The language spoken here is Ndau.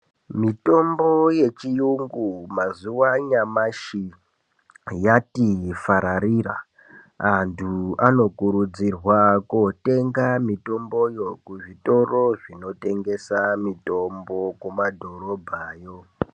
Mitombo yechiyungu mazuva anyamashi yati fararira anthu anokurudzirwa kotenga mitomboyo kuzvitoro zvinotengesa mitombo kumadhorobhayo.